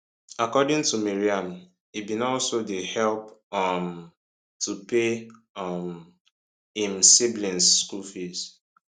according to maryam e bin also dey help um to pay um im siblings school fees